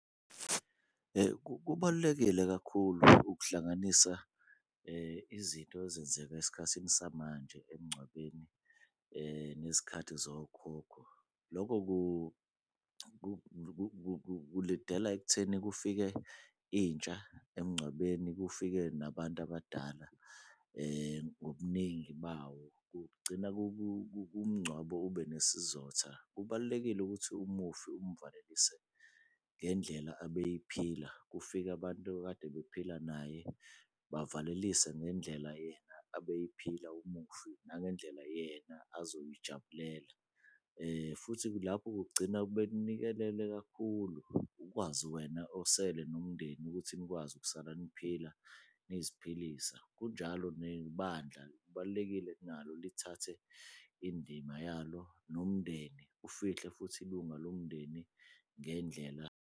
Kubalulekile kakhulu ukuhlanganisa izinto ezenzeka esikhathini samanje emngcwabeni, nezikhathi zokhokho. Loko kulidela ekutheni kufike intsha emngcwabeni, kufike nabantu abadala ngobuningi bawo. Kugcina umngcwabo ube nesizotha. Kubalulekile ukuthi umufi umvalelise ngendlela abeyiphila, kufike abantu okade bephila naye, bavalelise ngendlela yena abeyiphila umufi, nangendlela yena azoyijabulela. Futhi lapho kugcina bekunikelele kakhulu ukwazi wena osele nomndeni ukuthi nikwazi ukuthi nisala niphila, niziphilisa. Kunjalo nebandla, kubalulekile nalo lithathe indima yalo, nomndeni ufihle futhi ilunga lomndeni ngendlela